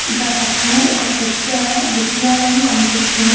గా పక్కనే ఇక పెద్ద విద్యాలయం కనిపిస్తుంది.